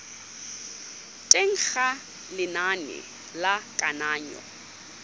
teng ga lenane la kananyo